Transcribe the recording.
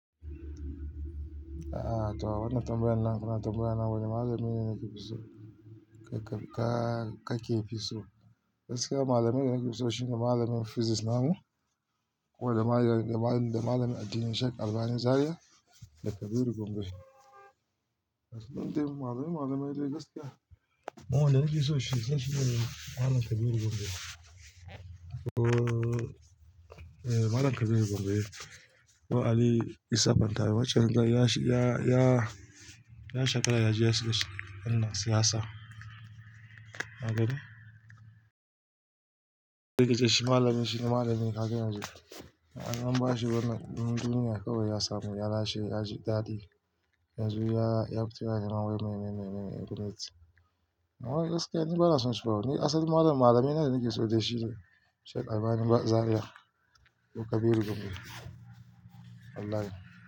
A'a to a wannan tambayan nan kuna tambayawa wane malami na ke fi so ka-ka-ka ke fi so. Da gaske malamin da nake so shine malamin Physics namu ko da ma da malamin addini Sheikh Albani Zariya da Kabir Gombe. Da gaske min tayi malami malami dai gaskiya. Amma wanda nake so shine malam Kabir Gombe. Eh malam Kabir Gombe ko Ali Isa ban taye. Wancan ya sha ya ya ya shakara ya ji ya sha Allah siyasa. Na gani? Da gaske shi malami shine malami ka gani yanzu. An ba shi wannan duniyar kawai ya samu yara shi ya ji dadi. Yanzu ya ya fita yana wai mai, mai, mai, mai, mai. Amma ni gaskiya ni bana son shi kawai. Ni asali malam malamai na nake so dai shi ne Sheikh Albani Zariya ko Kabir Gombe. Wallahi.